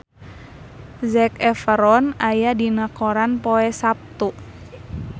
Zac Efron aya dina koran poe Saptu